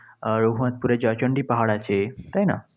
আর জয়চন্ডি পাহাড় আছে, তাই না?